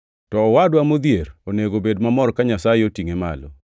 To owadwa modhier onego obed mamor ka Nyasaye otingʼe malo.